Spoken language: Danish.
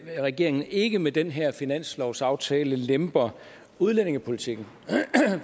regeringen ikke med den her finanslovsaftale lemper udlændingepolitikken